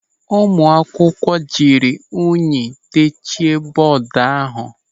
Ụmụ akwụkwọ jiri unyi techie bọọdu ahụ.